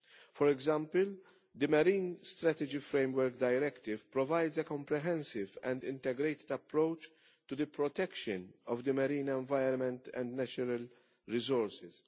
For example, the Marine Strategy Framework Directive provides a comprehensive and integrated approach to the protection of the marine environment and natural resources.